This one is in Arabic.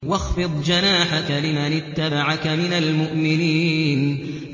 وَاخْفِضْ جَنَاحَكَ لِمَنِ اتَّبَعَكَ مِنَ الْمُؤْمِنِينَ